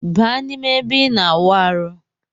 Baa na ime ebe ina awụ arụ.